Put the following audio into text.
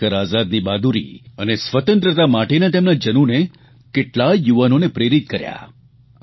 ચંદ્રશેખર આઝાદની બહાદુરી અને સ્વતંત્રતા માટેના તેમના જનૂને કેટલાય યુવાનોને પ્રેરિત કર્યા